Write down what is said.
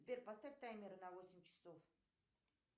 сбер поставь таймер на восемь часов